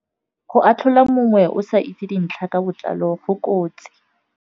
Go atlhola mongwe o sa itse dintlha ka botlalo go kotsi.